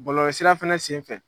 Bɔlɔlɔ sira fɛnɛ senfɛ